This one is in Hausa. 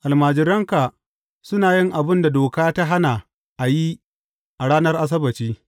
Almajiranka suna yin abin da doka ta hana a yi a ranar Asabbaci.